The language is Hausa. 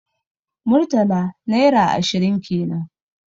Murtala naira ashirin kenan